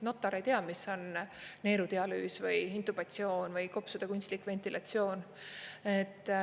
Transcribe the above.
Notar ei tea, mis on neerudialüüs, intubatsioon või kopsude kunstlik ventilatsioon.